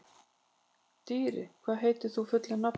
Dýri, hvað heitir þú fullu nafni?